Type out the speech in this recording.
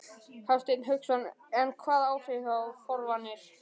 Hafsteinn Hauksson: En hvaða áhrif hafa forvarnir?